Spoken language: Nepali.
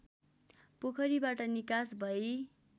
पोखरीबाट निकास भै